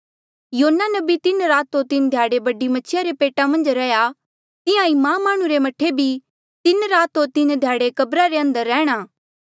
योना नबी तीन रात होर तीन ध्याड़े बडी मछिया रे पेटा मन्झ रैहया तिहां ईं मां माह्णुं रे मह्ठे भी तीन रात होर तीन ध्याड़े कब्रा रे अंदर रैंह्णां